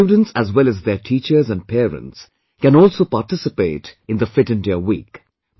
Students as well as their teachers and parents can also participate in the Fit India Week